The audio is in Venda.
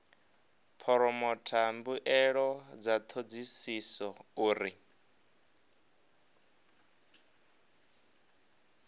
phoromotha mbuelo dza thodisiso uri